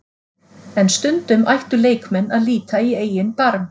En stundum ættu leikmenn að líta í eigin barm.